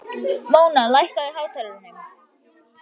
Móna, lækkaðu í hátalaranum.